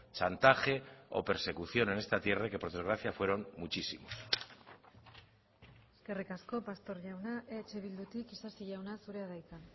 chantaje o persecución en esta tierra y que por desgracia fueron muchísimos eskerrik asko pastor jauna eh bildutik isasi jauna zurea da hitza